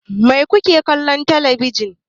Mai kuke kallo a telebijin?